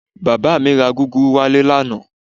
Bàbá mi ra gúgúrú wálé lánàá